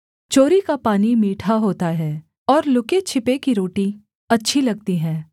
चोरी का पानी मीठा होता है और लुकेछिपे की रोटी अच्छी लगती है